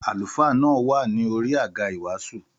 Àlùfáà náà wa ní orí àga ìwàásù